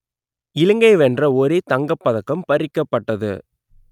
இலங்கை வென்ற ஒரே தங்கப் பதக்கம் பறிக்கப்பட்டது